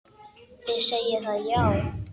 Þið segið það, já.